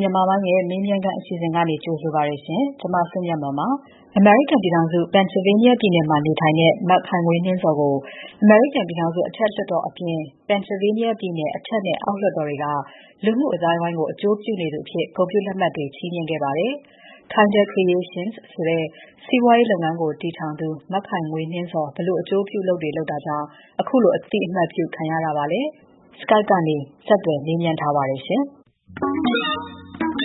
မြန်မာပိုင်းအစီအစဉ်က ကြိုဆိုပါတယ်ရှင့်။ အရင်ဆုံး သောတရှင်တွေကို မခိုင်ငွေနှင်းဇော်ကို မိတ်ဆက်ပေးချင်ပါတယ်။ သူကတော့ အမေရိကန်ပြည်ထောင်စု Pennsylvania ပြည်နယ်မှာ နေပါတယ်။ မကြာသေးခင်တုန်းကမှ အမေရိကန်အထက်လွှတ်တော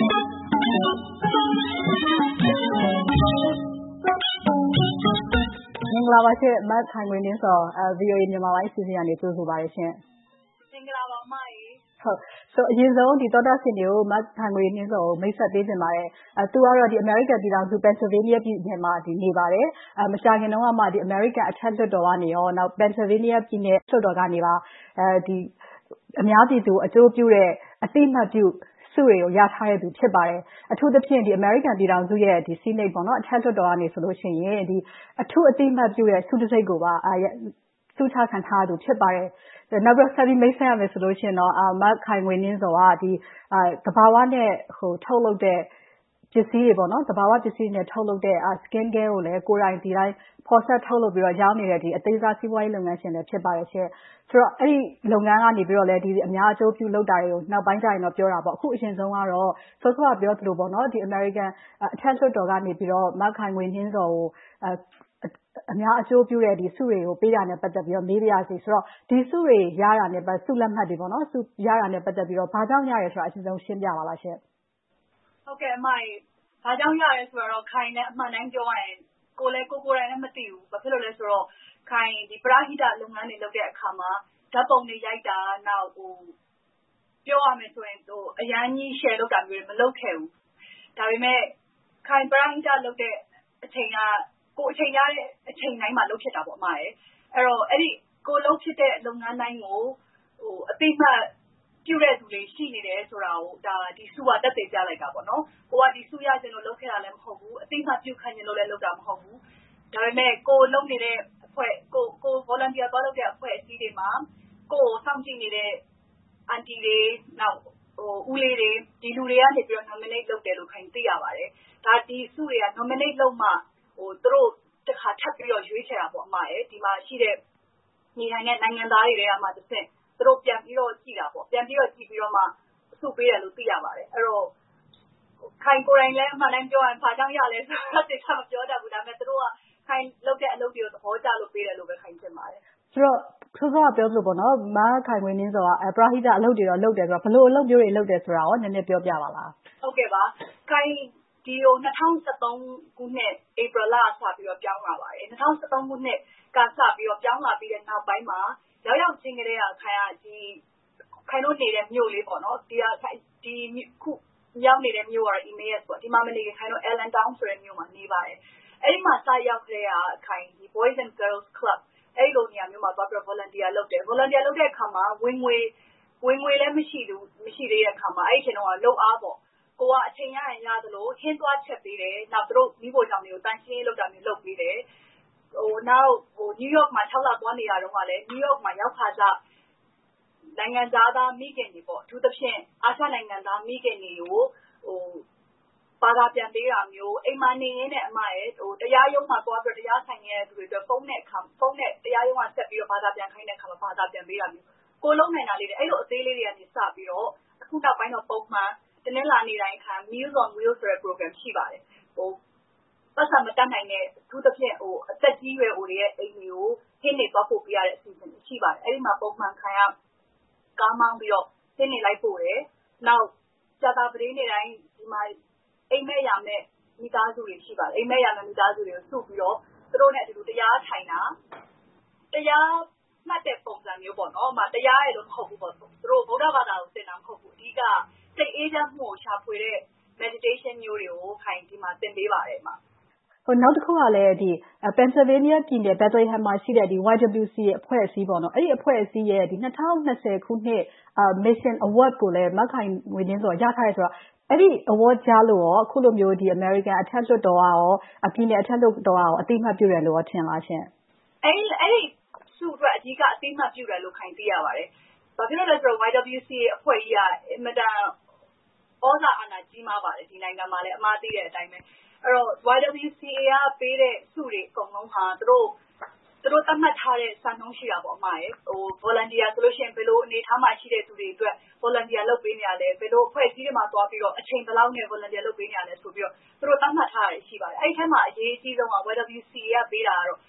်နဲ့ Pennsylvania ပြည်နယ်လွှတ်တော်ကနေပါ အများပြည်သူအကျိုးပြုတဲ့ အသိအမှတ်ပြုဆုတွေကို ရယူထားသူ ဖြစ်ပါတယ်။ အထူးသဖြင့် အမေရိကန်ပြည်ထောင်စုအထက်လွှတ်တော်ကနေ အထူးအသိအမှတ်ပြုဆုတံဆိပ်ကိုပါ ဆုချီးမြှင့်ခံထားရသူ ဖြစ်ပါတယ်။ နောက်ပြီး ဆက်လက်မိတ်ဆက်ရမယ်ဆိုရင်တော့ မခိုင်ငွေနှင်းဇော်က သဘာဝနဲ့ ထုတ်လုပ်တဲ့ ပစ္စည်းတွေ Skincare ကိုလည်း ကိုယ်တိုင်ဖော်စပ်ထုတ်လုပ်ပြီးတော့ ရောင်းနေတဲ့ အသေးစားစီးပွားရေး လုပ်ငန်းရှင်လည်း ဖြစ်ပါတယ်။ ဆိုတော့ အဲဒီလုပ်ငန်းကလဲ အများအကျိုးပြုလုပ်တာတွေကိုလည်း နောက်ပိုင်းမှာ ပြောကြတာပေါ့။ အခုအရင်ဆုံးကတော့ စောစောကပြောသလို အမေရိကန်အထက်လွှတ်တော်ကနေ မခိုင်ငွေနှင်းဇော်ကို အများအကျိုးပြုတဲ့ဆုတွေ ပေးတာနဲ့ ပတ်သက်ပြီး မေးပါရစေ။ ရရှိတဲ့ ဆုလက်မှတ်တွေနဲ့ ပတ်သက်ပြီး ဘာကြောင့်ရတာလဲဆိုတာကို ရှင်းပြပေးပါ။ မင်္ဂလာပါ။ ဘာကြောင့်ရသလဲဆိုတာကို ခိုင်လည်း အမှန်အတိုင်းပြောရရင် ကိုယ်ကိုယ်တိုင်လဲ မသိဘူး။ ဘာကြောင့်လဲဆိုတော့ ခိုင်က ပရဟိတလုပ်ငန်းတွေ လုပ်တဲ့အခါမှာ ဓါတ်ပုံတွေရိုက်တာ - ပြောရမယ်ဆိုရင် အရမ်းကြီးရှယ်လုပ်တာတွေ မလုပ်ခဲ့ဘူး။ ဒါပေမဲ့ ခိုင် ပရဟိတလုပ်တဲ့အချိန်ကတော့ ကိုယ်အချိန်ရတဲ့အချိန်တိုင်းမှာ လုပ်ဖြစ်တာပေါ့။ ကိုယ်လုပ်ဖြစ်တဲ့ လုပ်ငန်းတိုင်းကို အသိအမှတ်ပြုတဲ့လူတွေလည်း ရှိနေတယ်ဆိုတာကို ဒီဆုက သက်သေပြလိုက်တာပေါ့။ ကိုယ်က ဒီဆုရချင်လို့ လုပ်ခဲ့တာလဲ မဟုတ်ဘူး။ အသိအမှတ်ပြုခံချင်လို့ လုပ်တာလဲ မဟုတ်ဘူး။ ဒါပေမဲ့ ကိုယ်လုပ်နေတဲ့အဖွဲ့၊ ကိုယ် volunteer သွားလုပ်တဲ့အဖွဲ့အစည်းတွေမှာ ကိုယ့်ကိုစောင့်ကြည့်နေတဲ့ အန်တီတွေ၊ ဦးလေးတွေ ဒီလူတွေကနေ nominate လုပ်တယ်လို့ သိရပါတယ်။ ဒီဆုတွေက nominate လုပ်မှ သူတို့က တခါထပ်ပြီးတော့ ရွေးချယ်တာပေါ့။ ဒီမှာရှိတဲ့ နေထိုင်နေကြတဲ့ နိုင်ငံသားတွေထဲကမှတဆင့် သူတို့ပြန်ပြီးတော့ကြည့်ပြီးတော့မှ ဆုပေးတယ်လို့ သိရပါတယ်။ ခိုင်ကိုယ်တိုင်လည်း အမှန်အတိုင်း ပြောရရင်တော့ ဘာကြောင့်ရသလဲဆိုတာတော့ သေချာမပြောတတ်ဘူး။ ဒါပေမဲ့ သူတို့က ခိုင်လုပ်နေတဲ့ အလုပ်တွေကို သဘောကျလို့ ပေးတယ်လို့ပဲ ခိုင်ထင်ပါတယ်။ အဲဒီတော့ စောစောကပြောသလိုပေါ့ မခိုင်ငွေနှင်းဇော်က ပရဟိတ အလုပ်တွေတော့ လုပ်နေတယ်။ ဘယ်လိုအလုပ်မျိုးတွေ လုပ်တယ်ဆိုတာကို နည်းနည်းလေး ပြောပြပါလား။ ခိုင် ဒီကို ၂၀၁၃ ခုနှစ် ဧပြီလကစပြီး ပြောင်းလာပါတယ်။ ၂၀၁၃ ခုနှစ် စပြောင်းလာပြီးနောက်ပိုင်းမှာ ရောက်ရောက်ချင်းကတည်းက ခိုင်တို့နေတဲ့ မြို့ကလေး၊ အခုရောက်နေတဲ့ မြို့ကလေးကတော့ Emmaus မြို့မှာ မနေခင်၊ Allan Town ဆိုတဲ့ မြို့ကလေးမှာ နေပါတယ်။ အဲဒီကို စရောက်ကတည်းက ခိုင်က Boys and Girls Club အဲဒီလိုနေရာမျိုးမှာ Volunteer သွားလုပ်တယ်။ Volunteer လုပ်တဲ့နေရာမှာ ဝင်ငွေလည်း မရှိသေးတဲ့အခါမှာ အဲဒီအချိန်တုန်းကတော့ လုပ်အားပေးပါတယ်။ အချိန်ရရင် ရသလို ဟင်းသွားချက်ပေးတယ်။ ပြီးတော့ သူတို့မီးဖိုးချောင်းတွေကို သန့်ရှင်းရေးလုပ်ပေးတာမျိုးတွေ လုပ်ပေးတယ်။ နောက် New York မှာ လလောက် သွားနေရတုန်းကလဲ New York မှာ ရောက်ခါစ နိုင်ငံခြားသားမိခင်တွေ၊ အထူးသဖြင့် အာရှနိုင်ငံသားမိခင်တွေကို ဘာသာပြန်ပေးတာမျိုး၊ အိမ်မှာနေရင်းနဲ့ တရားရုံးတွေမှာ တရားသွားရင်ဆိုင်နေရတဲ့ လူတွေအတွက် ဖုန်းနဲ့ တရားရုံးကဆက်ပြီး ဘာသာပြန်ခိုင်းတဲ့အခါ ဘာသာပြန်ပေးတာမျိုး၊ ကိုယ်လုပ်ပေးနိုင်တာလေးတွေက စပြီးတော့ အခုနောက်ပိုင်းတော့ ပုံမှန် တနင်္လာနေ့တိုင်း Meals on Wheels ရှိပါတယ်။ ပိုက်ဆံမတတ်နိုင်တဲ့၊ အထူးသဖြင့် သက်ကြီးရွယ်အိုတွေရဲ့ အိမ်တွေကို ဟင်းတွေသွားပို့ပေးရတဲ့ အစီအစဉ် ရှိပါတယ်။ အဲဒီမှာ ပုံမှန်တာဝန်ယူ ကားမောင်းပြီးတော့ ဟင်းတွေလိုက်ပို့တယ်။ နောက် ကြာသပတေးနေ့တိုင်း အိမ်မဲ့ယာမဲ့ မိသားစုတွေ ရှိပါတယ်။ အဲဒီမိသားစုတွေကို စုပြီးတော့ သူတို့နဲ့အတူတူ တရားထိုင်တာ၊ တရားမှတ်တဲ့ပုံစံမျိုး - တရားရဲ့လို့တော့ မဟုတ်ဘူးပေါ့ - သူတို့ကို ဗုဒ္ဓဘာသာကို သင်တာမဟုတ်ဘူး။ အဓိကတော့ စိတ်အေးချမ်းမှုကို ရှာဖွေတဲ့ meditation မျိုးတွေကို သင်ပေးပါတယ်။ နောက်တခုကလဲ Pennsylvania ပြည်နယ် Bethlehem မြို့မှာရှိတဲ့ YWCA အဖွဲ့အစည်းရဲ့ ၂၀၂၀ ခုနှစ် Mission Award ကိုလည်း မခိုင်ငွေနှင်းဇော် ရထားတယ်ဆိုတော့၊ အဲဒီဆုကို ကြားသိရလို့ အခုလို အမေရိကန်အထက်လွှတ်တော်နဲ့ ပြည်နယ်အထက်လွှတ်တော်တို့က အသိအမှတ်ပြုတယ်လို့ ထင်ပါသလားရှင့်။ အဲဒီဆုအတွက် အဓိကအသိအမှတ်ပြုတယ်လို့ ခိုင် သိရပါတယ်။ ဘာဖြစ်လို့လဲဆိုတော့ YWCA အဖွဲ့ကြီးက အင်မတန်သြဇာကြီးမားပါတယ်။ ဒီနိုင်ငံမှာလည်း အမ သိတဲ့အတိုင်းပဲ။ အဲဒီတော့ YWCA က ပေးတဲ့ဆုတွေ အကုန်လုံးဟာ သူတို့ သတ်မှတ်ထားတဲ့ စံနှုန်း ရှိတာပေါ့။ Volunteer ဆိုလို့ရှိရင် ဘယ်လို အနေအထားမှာ ရှိတဲ့လူတွေအတွက် Volunteer လုပ်ပေးနေတာလဲ။ ဘယ်လို အဖွဲ့အစည်းတွေမှာ သွားပြီးတေ့ အချိန်ဘယ်လောက်နဲ့ Volunteer လုပ်ပေးနေတာလဲ ဆိုပြီးတော့ သူတို့ သတ်မှတ်ထားတာတွေ ရှိပါတယ်။ အဲဒီအထဲမှာ အရေးအကြီးဆုံးက YWCA က ပေးတာတော့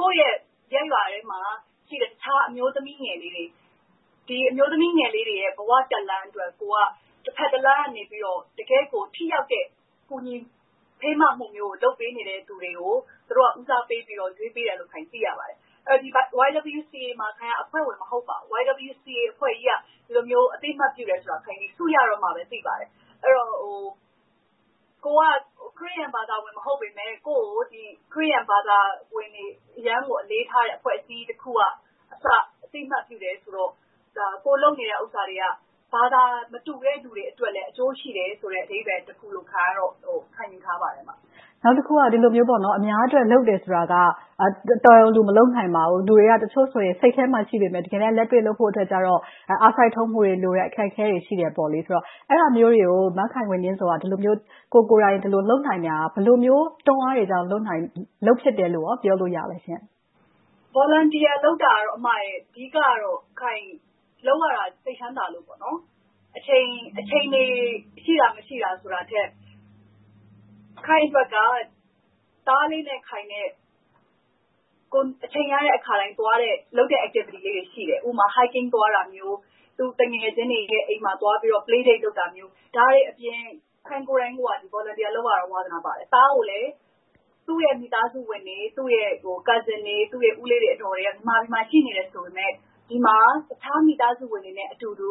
ကိုယ့်ရဲ့ရပ်ရွာထဲမှာရှိတဲ့ အခြားအမျိုးသမီးငယ်လေးတွေရဲ့ ဘဝတက်လှမ်းအတွက် ကိုယ်က တဘက်တလမ်းကနေပြီးတော့ တကယ့်ကို ထိရောက်တဲ့ ကူညီဖေးမမှုမျိုးတွေ လုပ်ပေးနေတဲ့လူတွေကို သူတို့က ဦးစားပေးပြီးတော့ ရွေးပေးတယ်လို့ ခိုင် သိရပါတယ်။ YWCA မှာ ခိုင်က အဖွဲ့ဝင် မဟုတ်ပါဘူး။ YWCA အဖွဲ့ကြီးက ဒီလိုမျိုး အသိအမှတ်ပြုတယ်ဆိုတာကို ဆုရတော့မှပဲ သိပါတယ်။ အဲဒီတော့ ကိုယ်က ခရစ်ယာန်ဘာသာဝင် မဟုတ်ပေမယ့် ကိုယ့်ကို ခရစ်ယာန်ဘာသာဝင်တွေ အရမ်းကိုအလေးထားတဲ့ အဖွဲ့အစည်းကြီးကအစ အသိအမှတ်ပြုတယ်ဆိုတော့ ကိုယ်လုပ်နေတဲ့ဥစ္စာတွေက ဘာသာမတူတဲ့ လူတွေအတွက်လဲ အကျိုးရှိတယ်ဆိုတဲ့ အဓိပ္ပါယ်တခုလို့ ခိုင်ကတော့ ခံယူထားပါတယ်။ နောက်တခုက ဒီလိုမျိုး အများအတွက် လုပ်တယ်ဆိုတာက တော်ရုံတန်ရုံလူ မလုပ်နိုင်ပါဘူး။ လူတွေက တချို့ဆိုရင် စိတ်ထဲမှာ ရှိပေမယ့် တကယ်တမ်း လက်တွေ့လုပ်ဖို့အတွက်ကြတော့ အားစိုက်ထုတ်မှုတွေလိုတယ်။ အခက်အခဲတွေ ရှိတယ်ဆိုတော့ အဲဒါမျိုးတွေကို မခိုင်ငွေနှင်းဇော်က ဒီလိုမျိုး ကိုယ်ကိုယ်တိုင် လုပ်နိုင်တာက ဘယ်လိုမျိုး တွန်းအားတွေကြောင့် လုပ်နိုင်၊ လုပ်ဖြစ်တယ်လို့ ပြောနိုင်ပါလဲ။ Volunteer လုပ်တာကတော့ အဓိကတော့ ခိုင် လုပ်ရတာ စိတ်ချမ်းသာလို့ပေါ့။ အချိန်တွေ ရှိတာမရှိတာဆိုတာထက် ခိုင်အတွက်က သားလေးနဲ့ ခိုင်နဲ့ ကိုယ်အချိန်ရတဲ့အခါတိုင်းသွားတဲ့ လုပ်တဲ့ Activities တွေ ရှိတယ်။ ဥပမာ Hiking သွားတာမျိုး။ သူ သူငယ်ချင်းတွေအိမ်မှာသွားပြီး Play Date လုပ်တာမျိုး။ ဒါတွေအပြင် ခိုင်ကိုယ်တိုင်က ဒီလို Volunteer လုပ်ရတာကို သဘောကျတယ်၊ ဝါသနာပါတယ်။ သားကိုလည်း သူ့ရဲ့မိသားစုဝင်တွေ၊ သူ့ရဲ့ Cousins တွေ၊ ဦးလေးတွေ၊ အဒေါ်တွေက မြန်မာပြည်မှာ ရှိနေတယ်ဆိုပေမယ့် ဒီမှာ တခြားမိသားစုဝင်တွေနဲ့အတူတူ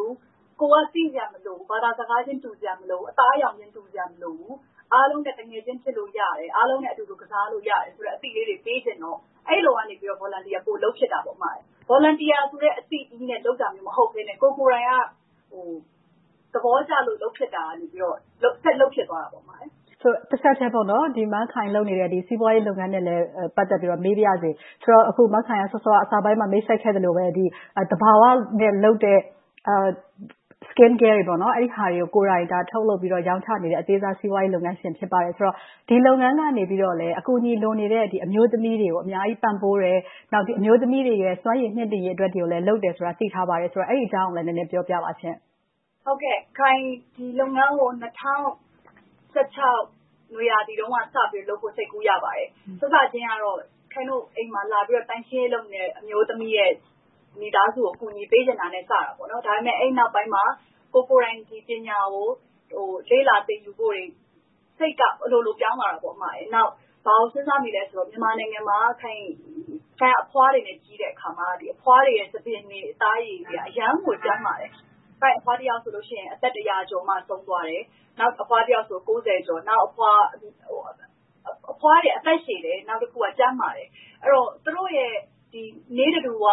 ကိုယ်က သိစရာမလိုဘူး၊ ဘာသာစကားချင်း တူစရာမလိုဘူး၊ သားအရောင်ချင်း တူစရာမလိုဘူး၊ အားလုံးနဲ့ သူငယ်ချင်းဖြစ်လို့ရတယ်၊ အားလုံးနဲ့အတူတူ ကစားလို့ရတယ်ဆိုတဲ့ အသိလေးတွေ ပေးချင်တော့ အဲဒီလိုကနေ Volunteer ပိုလုပ်ဖြစ်ပါတယ်။ Volunteer ကြိးဆိုတဲ့ အသိကြီးနဲ့ လုပ်တာမျိုး မဟုတ်ဘဲနဲ့ ကိုယ်ကိုယ်တိုင်က သဘောကျလို့ လုပ်ဖြစ်တာကနေ ဆက်လုပ်ဖြစ်သွားတာပေါ့။ တဆက်တည်းမှာ မခိုင် လုပ်နေတဲ့ စီးပွားရေးလုပ်ငန်းနဲ့လည်း ပတ်သက်ပြီးတော့ မေးပါရစေ။ ဆိုတော့ မခိုင်က အစပိုင်းမှာ မိတ်ဆက်ပေးခဲ့သလိုပဲ၊ သဘာဝနဲ့လုပ်တဲ့ Skincare တွေ အဲဒါတွေကို ထုတ်လုပ်ပြီးတော့ ရောင်းချနေတဲ့ အသေးစားစီးပွားရေးလုပ်ငန်းရှင် ဖြစ်ပါတယ်ဆိုတော့ ဒီလုပ်ငန်းကလည်း အကူအညီ လိုနေတဲ့ အမျိုးသမီးတွေကို အများကြီးပံ့ပိုးတယ်။ နောက် ဒီအမျိုးသမီးတွေရဲ့ စွမ်းရည်မြှင့်တင်ရေးတွေကိုလည်း လုပ်နေတယ်ဆိုတာ သိထားပါတယ်။ အဲဒီအကြောင်းကိုလည်း နည်းနည်းပြောပြပေးပါရှင့်။ ခိုင် ဒီလုပ်ငန်းကို ၂၀၁၆ နွေရာသီတုန်းက စပြီးတော့ လုပ်ဖို့ စိတ်ကူးရခဲ့ပါတယ်။ စစချင်းကတော့ ခိုင်တို့အိမ်မှာ လာပြီးတော့ သန့်ရှင်းရေးလုပ်နေတဲ့ အမျိုးသမီးရဲ့ မိသားစုကို အကူအညီပေးချင်တာနဲ့ စတာပေါ့။ ဒါပေမဲ့ အဲဒီနောက်ပိုင်းမှာ ကိုယ်ကိုယ်တိုင် ဒီပညာကို လေ့လာသင်ယူဖို့တွေ၊ စိတ်ကအလိုလိုပြောင်းလာပါတယ်။ နောက် ဘာကိုစဉ်းစားမိသလဲဆိုတော့ မြန်မာနိုင်ငံမှာ ခိုင်က အဖွားတွေနဲ့ ကြီးလာခဲ့တဲ့အခါမှာ အဖွားတွေရဲ့ ဆံပင်တွေ၊ အသားအရည်တွေက အရမ်းကို ကျန်းမာတယ်။ ခိုင့်အဖွားတယောက်ဆိုရင် အသက်တစ်ရာကျော်မှ ဆုံးသွားတယ်။ နောက်အဖွားတစ်ယောက်ဆိုရင် ကိုးဆယ်ကျော်။ နောက် အဖွားဆိုလည်း အသက်ရှည်တယ်။ နောက်ပြီး ကျန်းမာတယ်။ အဲဒီတော့ သူတို့ရဲ့ နေ့တဓုဝ